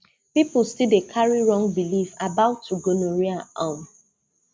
people still dey carry wrong belief about gonorrhea um